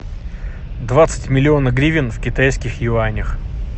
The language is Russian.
двадцать миллионов гривен в китайских юанях